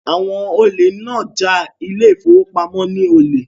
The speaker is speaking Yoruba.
Àwọn olè náà ja ile-ìfowópamó ní olè